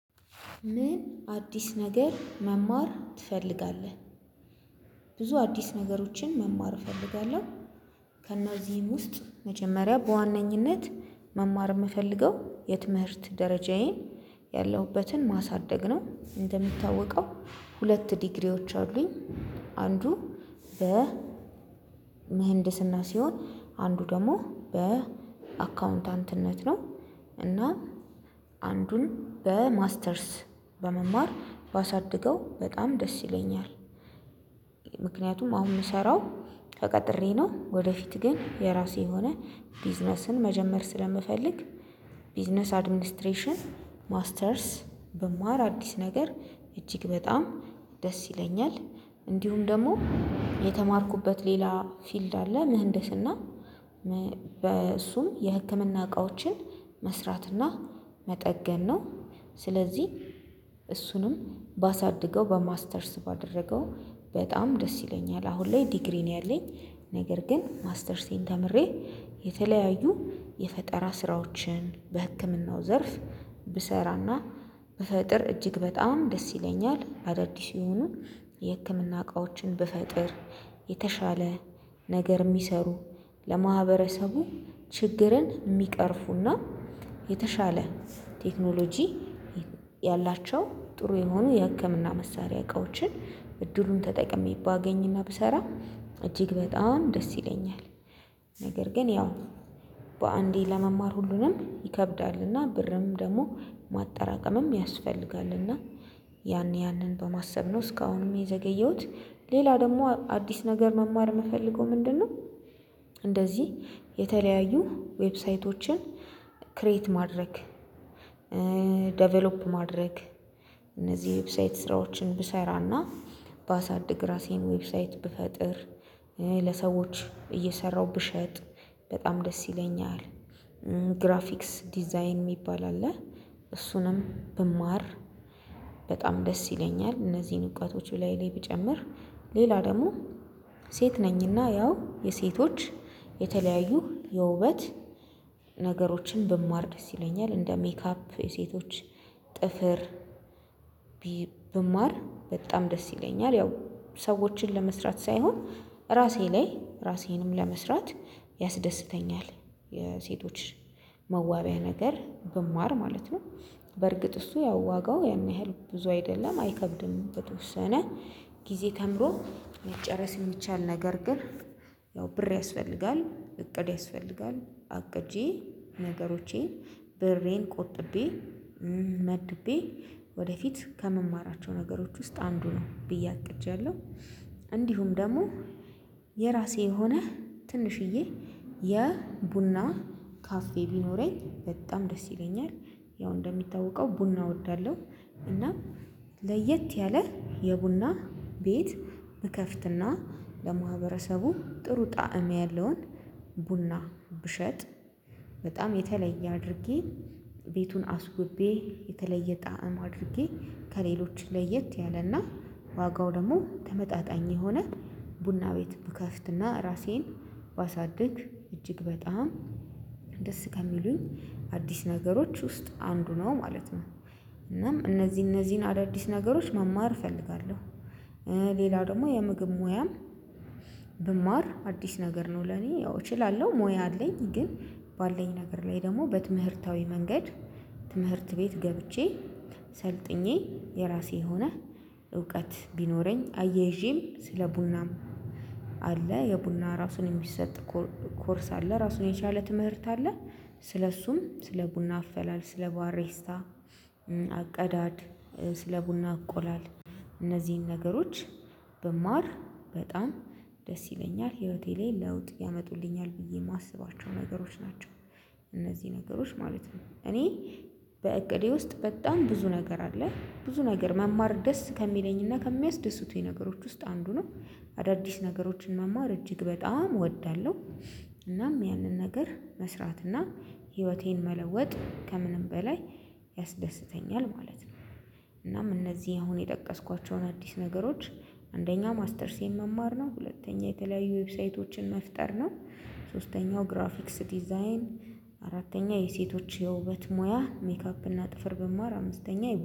ምን አዲስ ነገር መማር ትፈልጋለህ? ብዙ አዲስ ነገሮችን መማር እፈልጋለሁ ከእነዚህም ውስጥ መጀመሪያ በዋነኝነት መማር የምፈልገው የትምህርት ደረጃዬን ያለሁበትን ማሳደግ ነው። እንደምታወቀው ሁለት ዲግሪዎች አሉኝ። አንዱ በ ምህንድስና ሲሆን አንዱ ደግሞ በአካውንታንትነት ነው። እና አንዱን በማስተርስ በመማር ባሳድገው በጣም ደስ ይለኛል። ምክንያቱም አሁን የምሰራው ተቀጥሬ ነው ወደፊት ግን የራሴ የሆነ ቢዝነስን መጀመር ስለምፈልግ። ቢዝነስ አድሚኒስትሬሽን ማስተርስ ብማር አዲስ ነገር እጅግ በጣም ደስ ይለኛል። እንዲሁም ደግሞ የተማርኩበት ሌላ ፊልድ አለ። ምህንድስና በእሱም የህክምና እቃዎችን መስራትና መጠገን ነው። ስለዚህ ባሳድገው በማስተርስ ባደረገው በጣም ደስ ይለኛል። አሁን ላይ ዲግሪ ነው ያለኝ። ነገር ግን ማስተርሴን ተምሬ የተለያዩ የፈጠራ ስራዎችን በህክምናው ዘርፍ ብሰራና በፈጥር እጅግ በጣም ደስ ይለኛል። አዳዲስ የሆኑ የህክምና እቃዎችን ብፈጥር የተሻለ ነገር የሚሰሩ ለማህበረሰቡ የሚቀርፉና የተሻለ ቴክኖሎጂ ያላቸው ጥሩ የሆኑ የሀከምና መሳሪያ እቃዎችን እድሉን ተጠቅሜ ባገኝና ብሰራ እጅግ በጣም ደስ ይለኛል። ነገር ግን ያው በአንዴ ለመማር ሁሉንም ይከብዳልና ብርም ደግሞ ማጠራቀምም ያስፈልጋልና ያን ያንን በማሰብ ነው እስካሁንም የዘገየሁት። ሌላ ደግሞ አዲስ ነገር መማር የምፈልገው ምንድነው? እንደዚህ የተለያዩ ዌብሳይቶችን ክሬት ማድረግ ዴቨሎፕ ማድረግ ዌብሳይት ስራዎችን ብሰራና ባሳድግ ራሴን ዌብሳይት ብፈጥር ለሰዎች እየሰራሁ ብሸጥ በጣም ደስ ይለኛል። ግራፊክስ ዲዛይን የሚባል አለ እሱንም ብማር በጣም ደስ ይለኛል። እነዚህን እውቀቶች እላይ ላይ ብጨምር ሌላ ደግሞ ሴት ነኝና ያው የሴቶች የተለያዩ የውበት ነገሮችን ብማር ደስ ይለኛል። እንደ ሜካፕ ሴቶች ጥፍር ብማር በጣም ደስ ይለኛል። ያው ሰዎችን ለመስራት ሳይሆን ራሴ ላይ ራሴንም ለመስራት ያስደስተኛል። የሴቶች መዋቢያ ነገር ብማር ማለት ነው። በርግጥ እሱ ያዋጋው ያን ያህል ብዙ አይደለም አይከብድም በተወሰነ ጊዜ ተምሮ መጨረስ የሚቻል ነገር ግን ያው ብር ያስፈልጋል እቅድ ያስፈልጋል። አቅጄ ነገሮቼን ብሬን ቆጥቤ መድቤ ወደፊት ከመማራቸው ነገሮች ውስጥ አንዱ ነው ብዬ አቅጃለሁ። እንዲሁም ደግሞ የራሴ የሆነ ትንሽዬ የቡና ካፌ ቢኖረኝ በጣም ደስ ይለኛል። ያው እንደሚታወቀው ቡና እወዳለሁ። እና ለየት ያለ የቡና ቤት ብከፍትና ለማህበረሰቡ ጥሩ ጣዕም ያለውን ቡና ብሸጥ በጣም የተለየ አድርጌ ቤቱን አስውቤ የተለየ ጣዕም አድርጌ ከሌሎች ለየት ያለና ዋጋው ደግሞ ተመጣጣኝ የሆነ ቡና ቤት ብከፍትና ራሴን ባሳድግ እጅግ በጣም ደስ ከሚሉኝ አዲስ ነገሮች ውስጥ አንዱ ነው ማለት ነው። እናም እነዚህ እነዚህን አዳዲስ ነገሮች መማር እፈልጋለሁ። ሌላው ደግሞ የምግብ ሙያም ብማር አዲስ ነገር ነው። ለኔ ያው እችላለሁ ሙያ አለኝ ግን ባለኝ ነገር ላይ ደግሞ በትምህርታዊ መንገድ ትምህርት ቤት ገብቼ ሰልጥኜ የራሴ የሆነ እውቀት ቢኖረኝ አየይዤም ስለ ቡናም አለ የቡና ራሱን የሚሰጥ ኮርስ አለ ራሱን የቻለ ትምህርት አለ። ስለእሱም ስለ ቡና አፈላል ስለ ባሬስታ አቀዳድ ስለ ቡና አቆላል እነዚህን ነገሮች በማር በጣም ደስ ይለኛል። ህይወቴ ላይ ለውጥ ያመጡልኛል ብዬ የማስባቸው ነገሮች ናቸው። እነዚህ ነገሮች ማለት ነው እኔ በእቅዴ ውስጥ በጣም ብዙ ነገር አለ። ብዙ ነገር መማር ደስ ከሚለኝና ከሚያስደስቱኝ ነገሮች ውስጥ አንዱ ነው። አዳዲስ ነገሮችን መማር እጅግ በጣም እወዳለሁ። እናም ያንን ነገር መስራትና ህይወቴን መለወጥ ከምንም በላይ ያስደስተኛል ማለት ነው። እናም እነዚህ አሁን የጠቀስኳቸውን አዲስ ነገሮች አንደኛ ማስተርስ የመማር ነው። ሁለተኛ የተለያዩ ዌብሳይቶችን መፍጠር ነው። ሶስተኛው ግራፊክስ ዲዛይን አራተኛ የሴቶች የውበት ሙያ ሜካፕ እና ጥፍር ብማር አምስተኛ